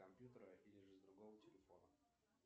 компьютера или же с другого телефона